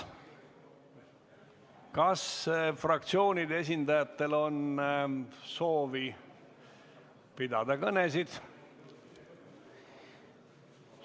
Kas fraktsioonide esindajatel on soovi pidada kõnesid?